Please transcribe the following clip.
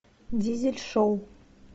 дизель шоу